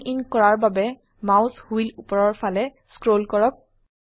জুম in কৰাৰ বাবে mouse wheel উপৰৰ ফালে স্ক্ৰল কৰক